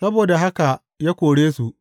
Saboda haka ya kore su.